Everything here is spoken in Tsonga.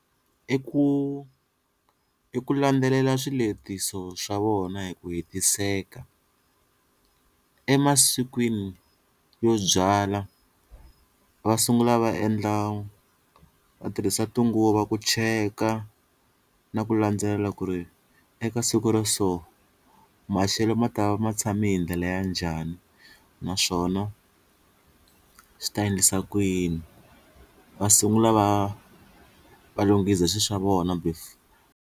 I ku i ku landzelela swiletiso swa vona hi ku hetiseka emasikwini yo byala va sungula va endla va tirhisa tinguva ku cheka na ku landzelela ku ri eka siku ra so maxelo ma ta va ma tshami hi ndlela ya njhani naswona swi ta endlisa kuyini va sungula va va lunghiza swilo swa vona before.